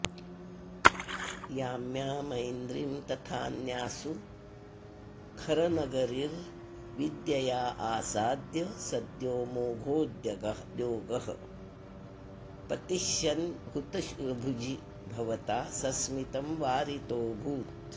याम्यामैन्द्रीं तथान्यास्सुरवरनगरीर्विद्ययाऽऽसाद्य सद्यो मोघोद्योगः पतिष्यन्हुतभुजि भवता सस्मितं वारितोऽभूत्